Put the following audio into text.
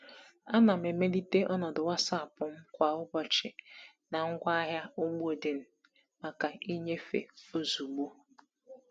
Ana m emelite ọnọdụ WhatsApp m kwa ụbọchị na ngwaahịa ugbo dị maka nnyefe ozugbo.